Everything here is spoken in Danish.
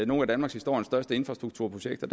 nogle af danmarkshistoriens største infrastrukturprojekter